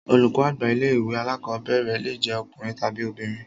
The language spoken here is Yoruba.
Olùkọ́ àgbà ilé ìwé alákọ̀berẹ̀ le jẹ ọkùnrin tàbi obìnrin.